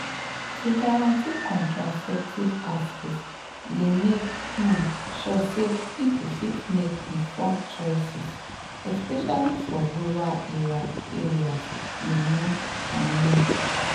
to guarantee contraceptive access dey make um sure say people fit make informed choices especially for rural areas you know i mean.